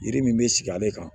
Yiri min bɛ sigi ale kan